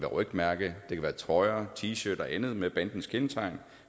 rygmærker trøjer t shirt og andet med bandens kendetegn